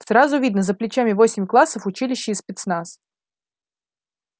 сразу видно за плечами восемь классов училище и спецназ